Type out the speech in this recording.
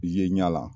Ye ɲɛ la